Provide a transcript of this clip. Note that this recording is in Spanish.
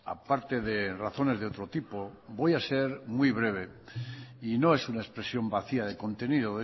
aparte de razones de otro tipo voy a ser muy breve y no es una expresión vacía de contenido